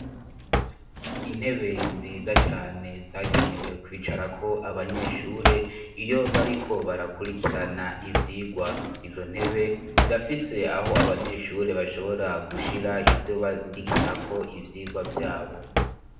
intebe nziza cane zagenewe kwicarako abanyeshure iyo bariko barakurikirana ivyigwa izo ntebe zirafise aho abanyeshure bashobora gushira ivyo bandikirako ivyigwa vyabo